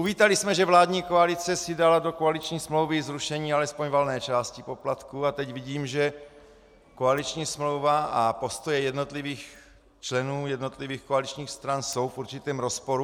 Uvítali jsme, že vládní koalice si dala do koaliční smlouvy zrušení alespoň valné části poplatků, a teď vidím, že koaliční smlouva a postoje jednotlivých členů jednotlivých koaličních stran jsou v určitém rozporu.